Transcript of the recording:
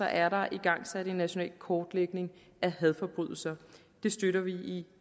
er der igangsat en national kortlægning af hadforbrydelser det støtter vi i